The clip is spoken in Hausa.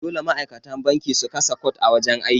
Dole ma'aikata banki su kasa cot a wajan aiki.